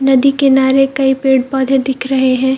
नदी किनारे कई पेड़-पौधे दिख रहे हैं।